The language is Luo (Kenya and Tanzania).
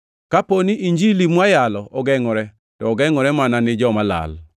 Kapo ni Injili mwayalo ogengʼore, to ogengʼore mana ni joma olal.